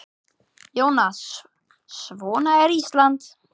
Jónas: Svona er Ísland?